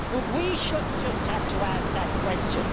But we shouldn't just have to ask that question.